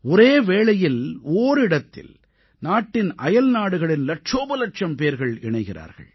ஒரே வேளையில் ஓரிடத்தில் நாட்டின் அயல்நாடுகளின் இலட்சோபலட்சம் பேர் இணைகிறார்கள்